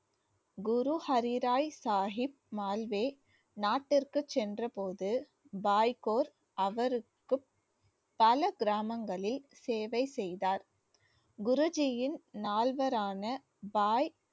குரு ஹரி ராய் சாகிப் மால்வே நாட்டிற்குச் சென்ற போது பாய்கோர் அவருக்கு பல கிராமங்களில் சேவை செய்தார் குருஜியின் நாள்வரான பாய்